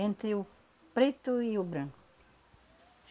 Entre o preto e o branco.